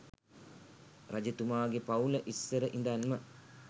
රජතුමාගෙ පවුල ඉස්සර ඉඳන්ම